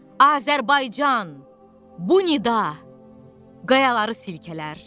Azərbaycan, bu nida qayaları silkələr.